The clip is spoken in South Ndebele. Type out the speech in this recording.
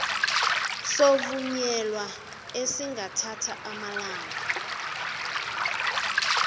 sokuvunyelwa esingathatha amalanga